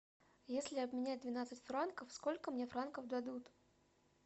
если обменять двенадцать франков сколько мне франков дадут